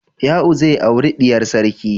Ya'u zai auri diyar sarki.